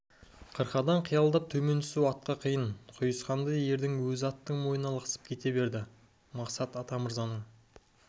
қырқадан қиялап төмен түсу атқа қиын құйысқанды ердің өзі аттың мойнына лықсып кете берді мақсат атамырзаның